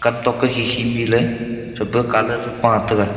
kam tok toh hi hi ley mi ley che pa colour e pa taiga.